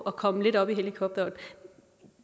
og komme lidt op i helikopterhøjde